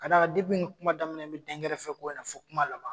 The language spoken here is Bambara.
Ka d'a kan ni kuma daminɛ na n bɛ dɛnkɛrɛfɛko in na fo kuma laban.